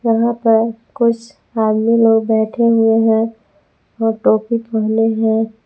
यहां पर कुछ आदमी लोग बैठे हुए हैं जो टोपी पहने हैं।